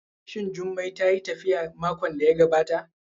Shin Jummai tayi tafiya makon da ya gabata?